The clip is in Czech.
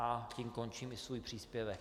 A tím končím i svůj příspěvek.